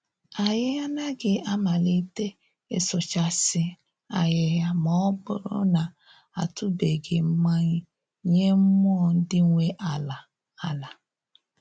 Anyị anaghị amalite ịsụchasị ahịhịa ma ọ bụrụ na a tụbeghị mmayị nye mmụọ ndị nwe ala ala